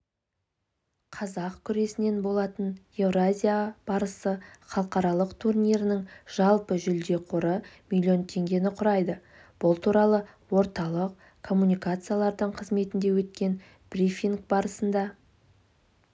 қазақ күресінен болатын еуразия барысы халықаралық турнирінің жалпы жүлде қоры млн теңгені құрайды бұл туралы орталық коммуникациялар қызметінде өткен брифинг барысында